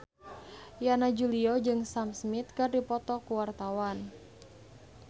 Yana Julio jeung Sam Smith keur dipoto ku wartawan